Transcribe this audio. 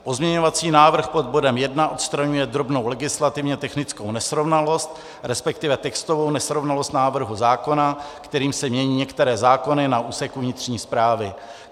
Pozměňovací návrh pod bodem 1 odstraňuje drobnou legislativně technickou nesrovnalost, respektive textovou nesrovnalost návrhu zákona, kterým se mění některé zákony na úseku vnitřní správy.